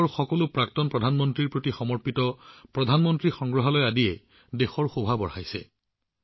দেশৰ সকলো প্ৰাক্তন প্ৰধানমন্ত্ৰীলৈ উৎসৰ্গিত প্ৰধানমন্ত্ৰী সংগ্ৰহালয়ে আজি দিল্লীৰ সৌন্দৰ্য বৃদ্ধি কৰিছে